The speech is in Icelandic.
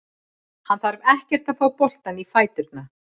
Hann þarf ekkert að fá boltann í fæturna.